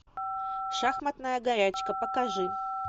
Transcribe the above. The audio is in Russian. шахматная горячка покажи